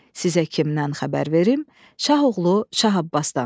Sizə kimdən xəbər verim, Şah oğlu Şah Abbasdan.